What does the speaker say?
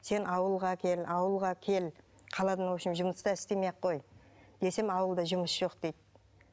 сен ауылға кел ауылға кел қаладан в общем жұмыс та істемей ақ қой десем ауылда жұмыс жоқ дейді